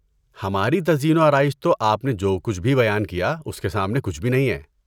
ہماری تزئین و آرائش تو آپ نے جو کچھ بھی بیان کیا اس کے سامنے کچھ بھی نہیں ہے۔